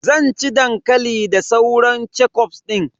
Zan ci dankali da sauran kechuf din.